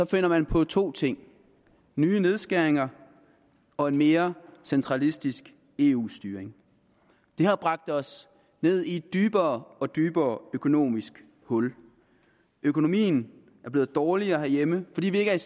finder man på to ting nye nedskæringer og en mere centralistisk eu styring det har bragt os ned i et dybere og dybere økonomisk hul økonomien er blevet dårligere herhjemme fordi vi ikke er